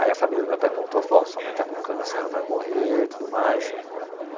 Aí a família do meu pai contou, falou, ó sua mãe está com câncer, ela vai morrer e tudo mais.